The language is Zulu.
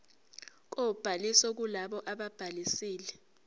kobhaliso kulabo ababhalisile